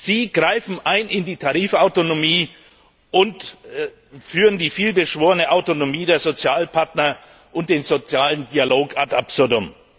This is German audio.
Sie greifen in die Tarifautonomie ein und führen die vielbeschworene Autonomie der Sozialpartner und den sozialen Dialog ad absurdum.